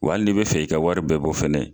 Wa hali n'i bɛ fɛ i ka wari bɛɛ bɔ fɛnɛ